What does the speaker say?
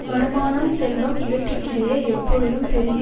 வருமானம் செல்வம் இவற்றிற்கிடையே எப்பொழுதும் பெருகி